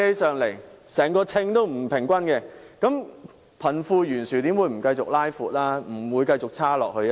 整個秤子是不平衡的，貧富懸殊又怎會不繼續擴闊呢？